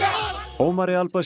Ómari al